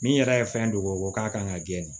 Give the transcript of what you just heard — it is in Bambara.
Min yɛrɛ ye fɛn dogo k'a kan ka gɛni